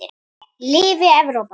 Lifi Evrópa.